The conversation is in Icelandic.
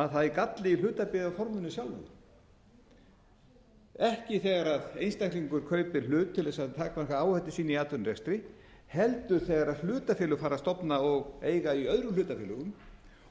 að það er galli í hlutabréfaforminu sjálfu ekki þegar einstaklingur kaupir hlut til þess að taka einhverja áhættu sína í atvinnurekstri heldur þegar hlutafélög fara að stofna og eiga í öðrum hlutafélögum